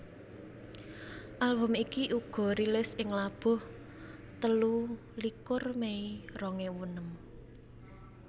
Album iki uga rilis ing labuh telulikur Mei rong ewu enem